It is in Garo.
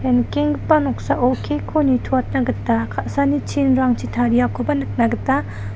ia nikenggipa noksao kek ko nitoatna gita ka·saani chinrangchi tariakoba nikna gita--